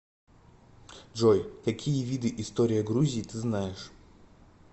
джой какие виды история грузии ты знаешь